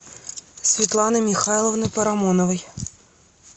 светланой михайловной парамоновой